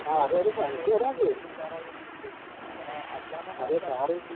ആഹ് അതെയതെ നമുക്കറിവുണ്ട്. അതെ സാറ്